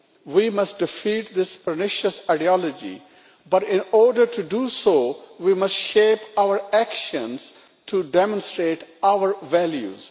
We must defeat this pernicious ideology, but in order to do so we must shape our actions to demonstrate our values.